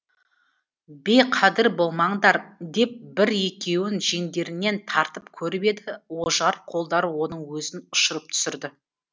бейқадір болмаңдар деп бір екеуін жеңдерінен тартып көріп еді ожар қолдар оның өзін ұшырып түсірді